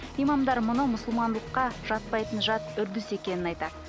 имамдар мұны мұсылмандылыққа жатпайтын жат үрдіс екенін айтады